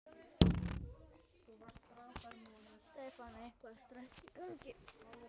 Stefán: Eitthvað stress í gangi?